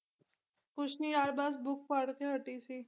ਕੁਛ ਨੀ ਯਾਰ ਬਸ book ਪੜ੍ਹਕੇ ਹਟੀ ਸੀ